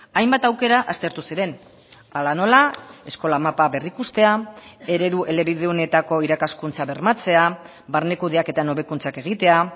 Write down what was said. hainbat aukera aztertu ziren hala nola eskola mapa berrikustea eredu elebidunetako irakaskuntza bermatzea barne kudeaketan hobekuntzak egitea